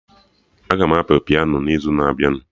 Aga m apị piano n'izu na-abịa